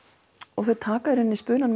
og þau taka í rauninni spunann